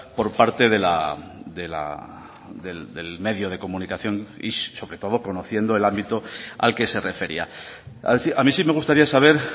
por parte del medio de comunicación y sobre todo conociendo el ámbito al que se refería a mí sí me gustaría saber